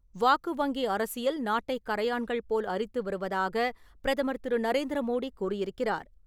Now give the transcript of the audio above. வாக்கு வங்கி அரசியல்" நாட்டை கரையான்கள் போல் அரித்து வருவதாக பிரதமர் திரு. நரேந்திர மோடி கூறியிருக்கிறார்.